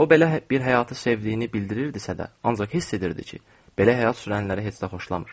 O belə bir həyatı sevdiyini bildirirdisə də, ancaq hiss edirdi ki, belə həyat sürənləri heç də xoşlamır.